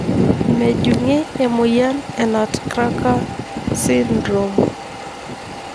Mejungi emoyian e nutcracker syndrome.